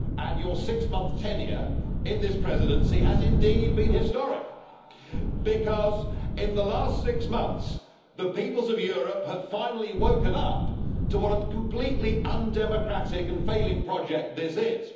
Your six month tenure in this presidency has indeed been historic, because in the last six months the peoples of Europe have finally woken up to what a completely undemocratic and failing project this is.